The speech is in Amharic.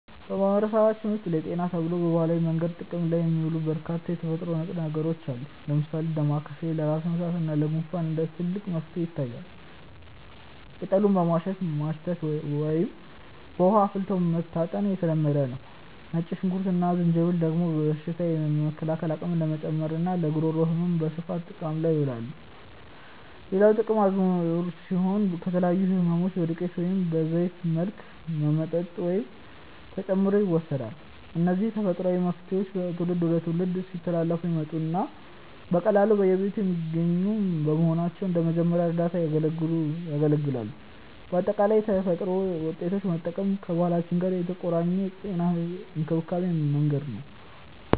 በማህበረሰባችን ውስጥ ለጤና ተብለው በባህላዊ መንገድ ጥቅም ላይ የሚውሉ በርካታ የተፈጥሮ ንጥረ ነገሮች አሉ። ለምሳሌ ዳማከሴ ለራስ ምታት እና ለጉንፋን እንደ ትልቅ መፍትሄ ይታያል፤ ቅጠሉን በማሸት ማሽተት ወይም በውሃ አፍልቶ መታጠን የተለመደ ነው። ነጭ ሽንኩርት እና ዝንጅብል ደግሞ በሽታ የመከላከል አቅምን ለመጨመርና ለጉሮሮ ህመም በስፋት ጥቅም ላይ ይውላሉ። ሌላው ጥቁር አዝሙድ ሲሆን፣ ለተለያዩ ህመሞች በዱቄት ወይም በዘይት መልክ በመጠጥ ውስጥ ተጨምሮ ይወሰዳል። እነዚህ ተፈጥሯዊ መፍትሄዎች ከትውልድ ወደ ትውልድ ሲተላለፉ የመጡና በቀላሉ በየቤቱ የሚገኙ በመሆናቸው እንደ መጀመሪያ እርዳታ ያገለግላሉ። በአጠቃላይ የተፈጥሮ ውጤቶችን መጠቀም ከባህላችን ጋር የተቆራኘ የጤና እንክብካቤ መንገድ ነው።